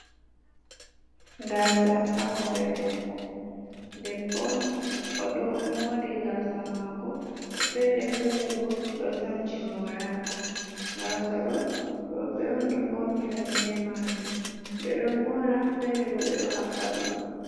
Gaasa ha hore debbo. Debbo on, o ɗo mori gaasa mako fere, fere bo ɗo sanci moraka. Gaasa ɗo, rowɓe on ɗo faunira be maajum, ɓe ɗo mora, fere bo ɓe ɗo haɓɓa ɗum.